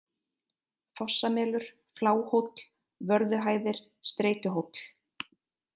Fossamelur, Fláhóll, Vörðuhæðir, Streytuhóll